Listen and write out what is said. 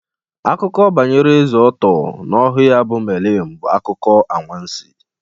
Akụkọ banyere Eze Ọttọ na ohu ya bụ Melịn bụ akụkọ anwansi.